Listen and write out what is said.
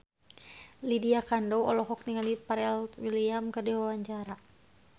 Lydia Kandou olohok ningali Pharrell Williams keur diwawancara